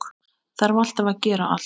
Þarf alltaf að gera allt.